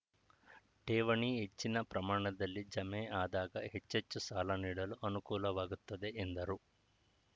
ಠೇವಣಿ ಹೆಚ್ಚಿನ ಪ್ರಮಾಣದಲ್ಲಿ ಜಮೆ ಆದಾಗ ಹೆಚ್ಚೆಚ್ಚು ಸಾಲ ನೀಡಲು ಅನುಕೂಲವಾಗುತ್ತದೆ ಎಂದರು